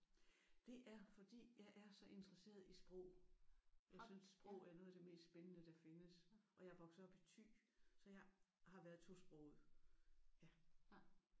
Det er fordi jeg er så interesseret i sprog. Jeg synes sprog er noget af det mest spændende der findes. Og jeg er vokset op i Thy så jeg har været tosproget